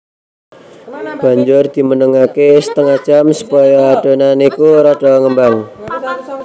Banjur dimenengake setengah jam supaya adonan iku rada ngembang